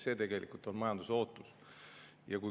See on tegelikult majanduse ootus.